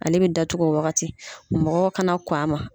Ale bɛ datugu o wagati. Mɔgɔw kana kɔn a ma.